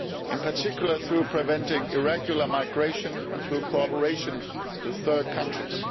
in particular by preventing irregular migration and through cooperation with third countries.